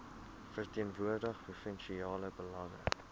verteenwoordig provinsiale belange